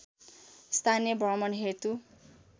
स्थानीय भ्रमण हेतु